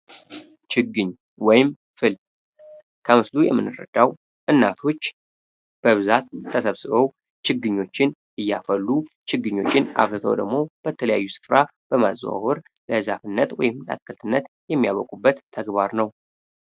ችግኝ ወይም ፍል ከምስሉ የመንረዳው እናቶች በብዛት ተሰብስበው ችግኞችን እያፈሉ ችግኞችን አፍለተው ደግሞ በተለያዩ ስፍራ በማዘዋወር ለዛፍነት ወይም ላትክልትነት የሚያበቁበት ተግባር ነው።